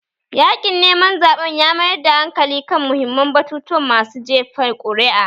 Yaƙin neman zaɓen ya mayar da hankali kan muhimman batutuwan masu jefa kuri'a